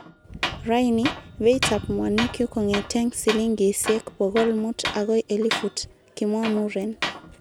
Raini beitab mwanikyuk kongeten silingisiek bogol mut agoi elifut,"kimwa muren.